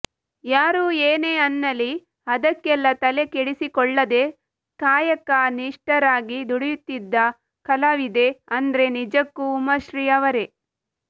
ಯಾರೂ ಏನೇ ಅನ್ನಲಿ ಅದಕ್ಕೆಲ್ಲಾ ತಲೆ ಕೆಡಿಸಿಕೊಳ್ಳದೇ ಕಾಯಕ ನಿಷ್ಟರಾಗಿ ದುಡಿಯುತ್ತಿದ್ದ ಕಲಾವಿದೆ ಅಂದ್ರೆ ನಿಜಕ್ಕೂ ಉಮಾಶ್ರೀ ಅವರೇ